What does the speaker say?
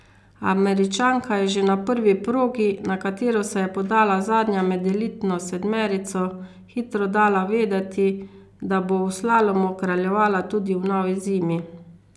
Američanka je že na prvi progi, na katero se je podala zadnja med elitno sedmerico, hitro dala vedeti, da bo v slalomu kraljevala tudi v novi zimi.